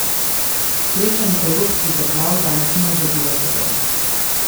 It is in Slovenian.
Srečanje evropskih držav danes ni obrodilo sadov.